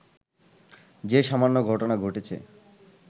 যে সামান্য ঘটনা ঘটেছে